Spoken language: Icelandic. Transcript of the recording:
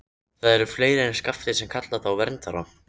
Það eru fleiri en Skafti sem kalla þá verndara.